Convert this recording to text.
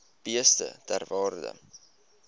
beeste ter waarde